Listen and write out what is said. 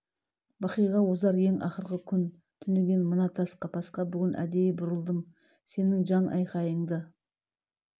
бақиға озар ең ақырғы күн түнеген мына тас қапасқа бүгін әдейі бұрылдым сенің жан айқайыңды